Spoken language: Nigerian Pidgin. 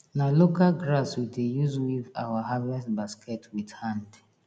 na local grass we dey use weave our harvest basket with hand